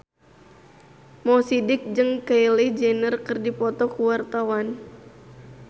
Mo Sidik jeung Kylie Jenner keur dipoto ku wartawan